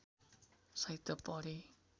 साहित्य पढेँ